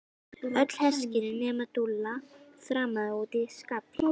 Öll hersingin nema Dúlla þrammaði út í skafl.